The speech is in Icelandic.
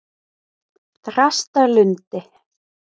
Þrastarlundi